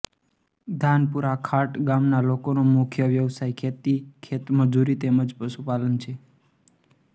ધાનપુરા ખાંટ ગામના લોકોનો મુખ્ય વ્યવસાય ખેતી ખેતમજૂરી તેમ જ પશુપાલન છે